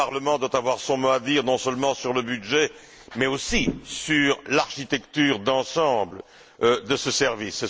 Le Parlement doit avoir son mot à dire, non seulement sur le budget, mais aussi sur l'architecture d'ensemble de ce service.